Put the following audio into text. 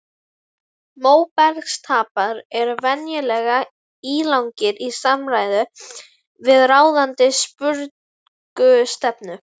Móbergsstapar eru venjulega ílangir í samræmi við ráðandi sprungustefnu.